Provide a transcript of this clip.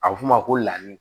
A bɛ f'o ma ko ladi